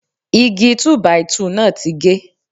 Igi Túbàìtuù náà ti ge.